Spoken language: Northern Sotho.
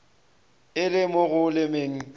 e le mo go lemeng